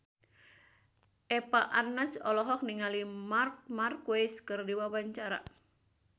Eva Arnaz olohok ningali Marc Marquez keur diwawancara